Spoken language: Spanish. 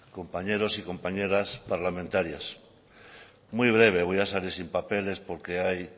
compañeros y compañeras parlamentarias muy breve voy a salir sin papeles porque hay